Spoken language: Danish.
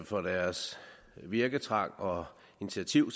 for deres virketrang og initiativ